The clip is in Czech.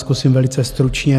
Zkusím velice stručně.